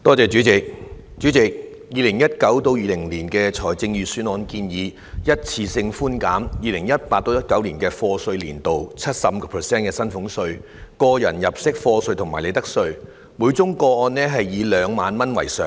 主席 ，2019-2020 年度的財政預算案建議一次性寬減 2018-2019 課稅年度 75% 的薪俸稅、個人入息課稅和利得稅，每宗個案以2萬元為上限。